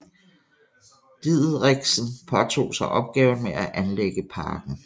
Diederichsen påtog sig opgaven med at anlægge parken